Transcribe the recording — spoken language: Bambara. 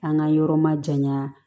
An ka yɔrɔ ma janya